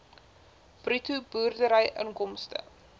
bruto boerdery inkomste